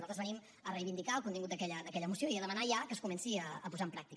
nosaltres venim a reivindicar el contingut d’aquella moció i a demanar ja que es comenci a posar en pràctica